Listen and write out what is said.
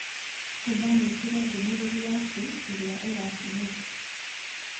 nĩdanyitire ndũmĩrĩri yaku ĩrĩa ũratũmanĩte.